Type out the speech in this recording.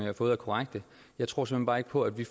har fået er korrekte jeg tror såmænd bare ikke på at vi